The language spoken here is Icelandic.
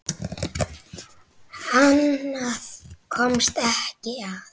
Annað komst ekki að!